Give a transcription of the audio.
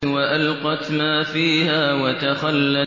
وَأَلْقَتْ مَا فِيهَا وَتَخَلَّتْ